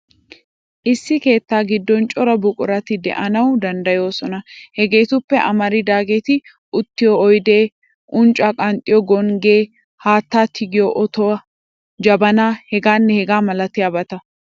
Issi keettaa giddon cora buqurati de'anawu danddayoosona. Hegeetuppe amaridaageeti uttiyo oydi, unccaa qanxxiyo gonggiya, haattaa tigiyo otuwa, jabanaa hegaanne hegaa malatiyabata.